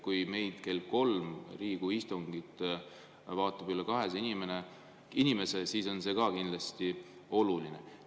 Kui kell kolm öösel Riigikogu istungit vaatab üle 200 inimese, siis on see kindlasti oluline.